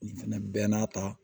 Nin fɛnɛ bɛɛ n'a ta